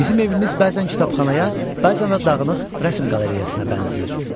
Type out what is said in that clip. Bizim evimiz bəzən kitabxanaya, bəzən də dağınıq rəsm qalereyasına bənzəyir.